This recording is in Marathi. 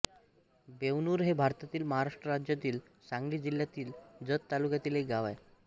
बेवणूर हे भारतातील महाराष्ट्र राज्यातील सांगली जिल्ह्यातील जत तालुक्यातील एक गाव आहे